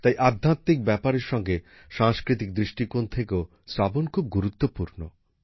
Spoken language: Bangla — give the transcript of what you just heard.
তাই আধ্যাত্মিক ব্যাপারের সঙ্গে সাংস্কৃতিক দৃষ্টিকোন থেকেও শ্রাবণ খুব গুরুত্বপূর্ণ